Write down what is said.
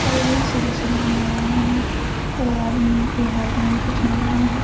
और वह सुंदर-सुंदर मलाएं हैं और आदमी के हाँथ में भी कुछ मलाएं हैं।